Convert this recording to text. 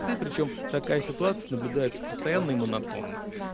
ты причём такая ситуация наблюдается постоянно и монотонно